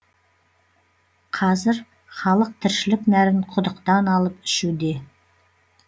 қазір халық тіршілік нәрін құдықтан алып ішуде